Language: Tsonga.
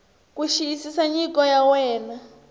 ku xiyisisa nyiko ya wena